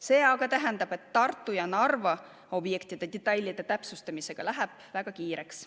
See aga tähendab, et Tartu ja Narva objektide detailide täpsustamisega läheb väga kiireks.